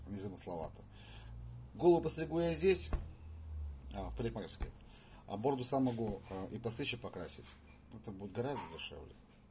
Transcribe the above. незамысловато голову подстригу я здесь в парикмахерской а бороду могу сам и подстричь и покрасить это будет гораздо дешевле